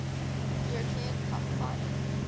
european cup final